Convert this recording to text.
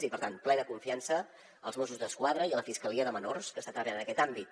i per tant plena confiança als mossos d’esquadra i a la fiscalia de menors que està treballant en aquest àmbit